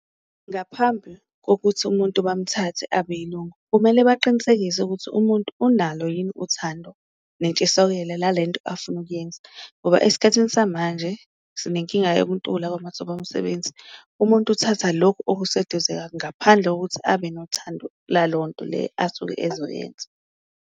Ngaphambi kokuthi umuntu bamuthathe abe yilungu kumele baqinisekise ukuthi umuntu unalo yini uthando nentshisokelo la lento afuna ukuyenza, ngoba esikhathini samanje sinenkinga yokuntula kwamathuba omsebenzi. Umuntu uthatha lokhu okuseduze ngaphandle kokuthi abe nothando lalonto le asuke ezoyenza.